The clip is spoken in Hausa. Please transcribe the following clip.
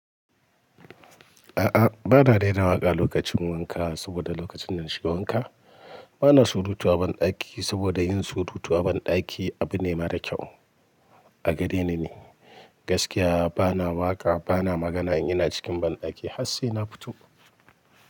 A'a, ba na raira waƙa lokacin wanka saboda lokacin dana shiga wanka ba na surutu a banɗaki saboda yin surutu a banɗaki abu ne mara kyau. A gareni ni gaskiya ba na waƙa, ba na magana in ina cikin banɗaki har sai na fito.